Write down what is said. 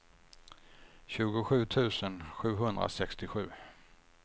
tjugosju tusen sjuhundrasextiosju